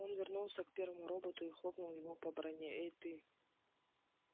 он вернулся к первому роботу и хлопнул его по броне эй ты